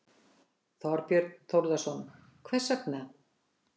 Þorbjörn Þórðarson: Hvers vegna?